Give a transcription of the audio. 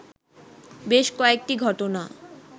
বেশ কয়েকটি ঘটনা